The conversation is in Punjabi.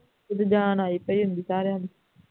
ਉਦੋਂ ਜਾਨ ਆਈ ਪਈ ਹੁੰਦੀ ਸਾਰਿਆਂ ਨੂੰ